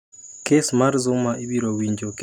Kes mar Zuma ibiro winjo kendo e dwe mar auchiel